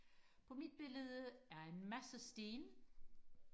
på mit billede er en masse sten